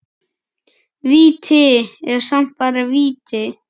Víti er samt bara víti.